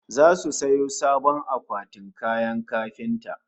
Zasu sayo sabon akwatin kayan kafinta